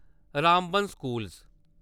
Ramban school